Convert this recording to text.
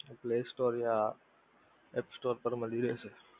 play store યા app store માં મળી રેહશે.